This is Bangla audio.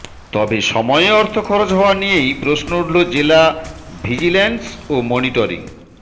তবে সময়ে অর্থ খরচ হওয়া নিয়েই প্রশ্ন উঠল জেলা ভিজিল্যান্স ও মনিটরিং